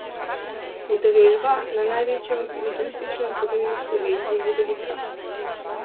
Udeležba na največjem judoističnem turnirju v Sloveniji je velika.